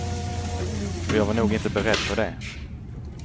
Och jag var nog inte beredd på det.